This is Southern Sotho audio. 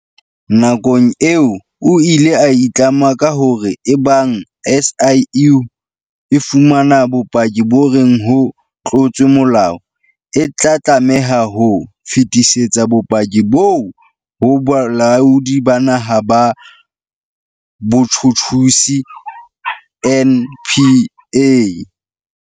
Nakong eo o ile a itlama ka hore eba ng SIU e fumana bopaki bo reng ho tlotswe molao, e tla tlameha ho fetisetsa bopaki boo ho Bolaodi ba Naha ba Botjhutjhisi, NPA.